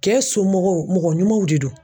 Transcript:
Kɛ somɔgɔw mɔgɔ ɲumanw de do.